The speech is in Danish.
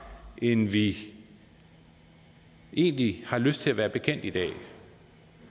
end vi egentlig har lyst til at være bekendt i dag